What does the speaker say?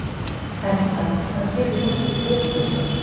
Helga: Hvað gerir fólk í kröfugöngu?